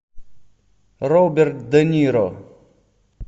роберт де ниро